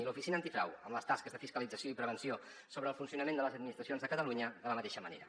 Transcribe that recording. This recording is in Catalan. i l’oficina antifrau amb les tasques de fiscalització i prevenció sobre el funcionament de les administracions de catalunya de la mateixa manera